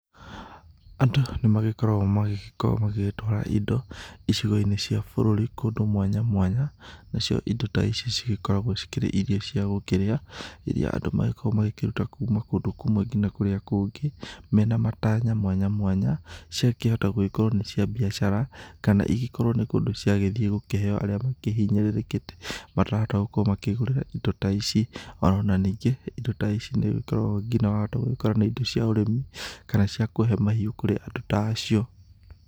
Andũ nĩ magĩkoragwo magĩgĩkorwo magĩgĩtwara indo icigo-inĩ cia bũrũri kũndũ mwanya mwanya, nacio indo ta ici cigĩkoragwo ikĩrĩ irio cia gũkĩrĩa, iria andũ magĩkoragwo magĩkĩruta kuma kũndũ kũmwe nginya kũrĩa kũngĩ, mena matanya mwanya mwanya, ciakĩhota gũgĩkorwo nĩ cia biacara, kana igĩkorwo nĩ kũndũ ciagĩthiĩ gũkĩheo arĩa makĩhinyĩrĩrĩkĩte matarahota gũkorwo makĩĩgũrĩra indo ta ici, o na ningĩ, indo ta ici nĩũgĩkorawo ningĩ wahota gũkora nĩ indo cia ũrĩmi kana cia kũhe mahiũ kũrĩ andũ ta acio.